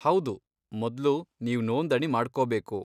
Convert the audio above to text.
ಹೌದು, ಮೊದ್ಲು ನೀವ್ ನೋಂದಣಿ ಮಾಡ್ಕೊಬೇಕು.